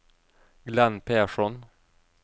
Glenn Persson